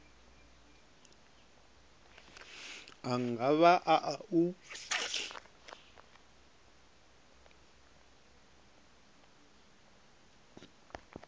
a nga vha a u